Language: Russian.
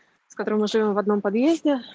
с который уже в одном подъезде